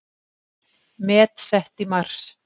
Met sett í mars